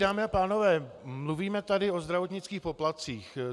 Dámy a pánové, mluvíme tady o zdravotnických poplatcích.